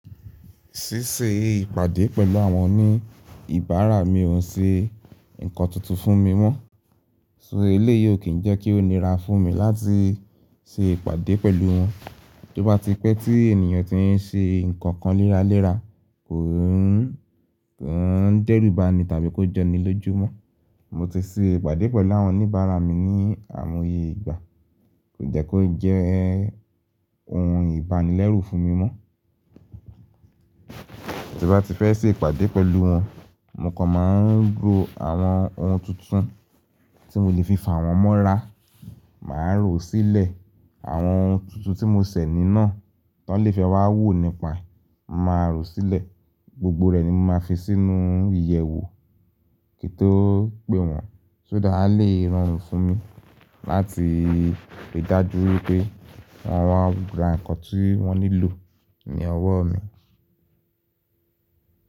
Ṣíṣe ìpàdé pẹ̀lú àwọn oníbàárà mi ò ṣe ǹkan tuntun fún mi mọ́. Iru eléyìí ò kí ń jẹ́ kí ó nira fún mi láti ṣe ìpàdé pẹ̀lú wọn? To bá ti pẹ́ tí ènìyàn ti ń ṣe ǹkankan léra léra, kòun, koun dè rú bá ni tàbí kó jo ni lójúmọ́. Mo ti ṣe ìpàdé pẹ̀lú àwọn oníbàárà mi ní àìmoye ìgbà. Kò jẹ́ kó jẹ́ ohun ìbánilẹ́rù fún mi mọ́. Tí n bá ti fẹ́ ṣe ìpàdé pẹ̀lú wọn, mo kàn máa ń ró àwọn ohun tuntun tí mo lè fi fàwọn mọ́ra. Màá rò ó sílẹ̀, àwọn ohun tuntun tí mo ṣẹ̀ ni naa tó lè fẹ́ wá wò nípa ẹ, mo màá rò ó sílẹ̀. Gbogbo rẹ̀ ni mo máa fi sínú ìyẹ̀wò kí n tó pè wọ́n. Só dá ha lè rorun fún mi láti rí i dájú wipé wọn wa ra n kan tí wọ́n nílò ni ọwọ́ mi.